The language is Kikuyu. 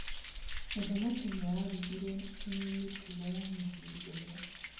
Mũthamaki nĩarigirwo nĩ mĩtugo ya Mũthuri ũrĩa.